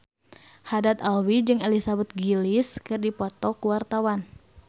Haddad Alwi jeung Elizabeth Gillies keur dipoto ku wartawan